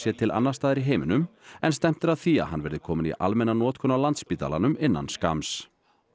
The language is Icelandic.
til annars staðar í heiminum en stefnt er að því að hann verði kominn í almenna notkun á Landspítalanum innan skamms